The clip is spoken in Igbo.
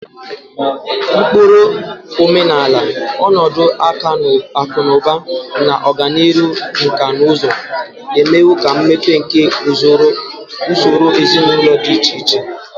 Ụkpụrụ omenala, ọnọdụ akụ na ụba, na ọganihu nkà na ụzụ emewo ka mmepe nke usoro ezinụlọ dị iche iche.